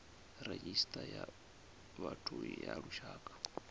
redzhisita ya vhathu ya lushaka